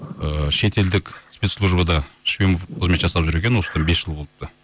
ыыы шетелдік спецслужбада шпион болып қызмет жасап жүр екен осыдан бес жыл болыпты